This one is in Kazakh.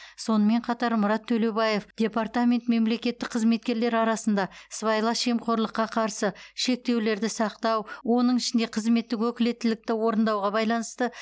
сонымен қатар мұрат төлеубаев департамент мемлекеттік қызметкерлер арасында сыбайлас жемқорлыққа қарсы шектеулерді сақтау оның ішінде қызметтік өкілеттілікті орындауға байланысты